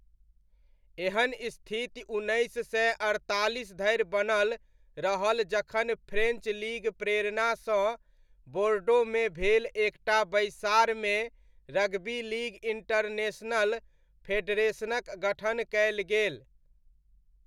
एहन स्थिति उन्नैस सय अड़तालिस धरि बनल रहल जखन फ्रेन्च लीग प्रेरणासँ बोर्डोमे भेल एक टा बैसारमे रग्बी लीग इण्टरनेशनल फेडरेशनक गठन कयल गेल।